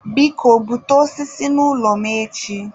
biko, bute osisi n'ụlọ m echi.